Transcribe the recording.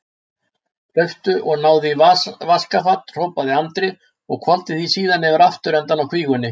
Hlauptu og náðu í vaskafat, hrópaði Andri og hvolfdi því síðan yfir afturendann á kvígunni.